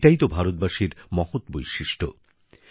এটাই তো ভারতবাসীর মহৎ বৈশিষ্ট্য